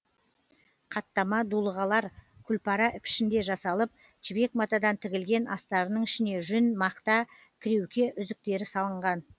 қаттама дулығалар күлпара пішінде жасалып жібек матадан тігілген астарының ішіне жүн мақта кіреуке үзіктері салынған